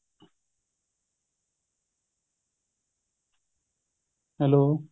hello